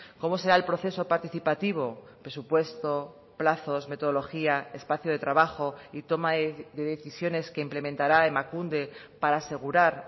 cómo será el proceso participativo presupuesto plazos metodología espacio de trabajo y toma de decisiones que implementará emakunde para asegurar